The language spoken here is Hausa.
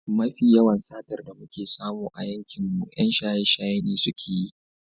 Mafi yawan satar da muke samu a yankinmu 'yan shaye-shaye ne suke yi.